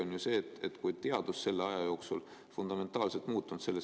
On ju selge, et teadus selle aja jooksul selles küsimuses fundamentaalselt muutunud ei ole.